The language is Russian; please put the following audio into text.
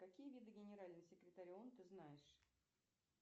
какие виды генеральным секретарем ты знаешь